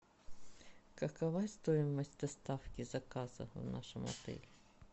какова стоимость доставки заказа в нашем отеле